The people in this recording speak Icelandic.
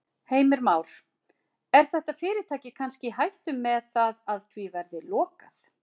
Heimir Már: Er þetta fyrirtæki kannski í hættu með það að því verði lokað?